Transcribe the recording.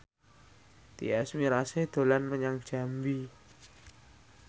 Tyas Mirasih dolan menyang Jambi